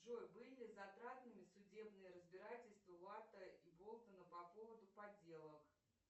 джой были ли затратными судебные разбирательства латта и болтона по поводу подделок